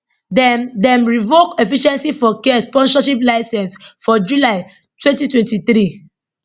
dem dem revoke efficiency for care sponsorship licence for july 2023